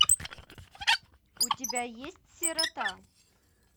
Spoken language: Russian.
у тебя есть сирота